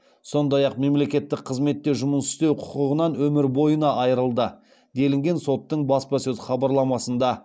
сондай ақ мемлекеттік қызметте жұмыс істеу құқығынан өмір бойына айырылды делінген соттың баспасөз хабарламасында